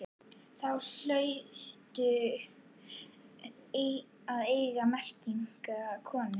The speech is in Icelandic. Þá hlaustu að eignast merkilega konu.